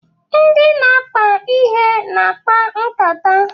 Ndị na-akpa ihe na-akpa nkata.